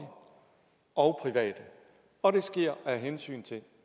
og private og det sker af hensyn til